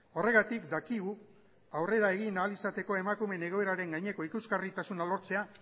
horregatik dakigu aurrera egin ahal izateko emakumeen egoeraren gaineko ikusgarritasuna lortzea